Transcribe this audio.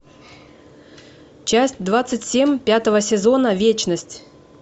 часть двадцать семь пятого сезона вечность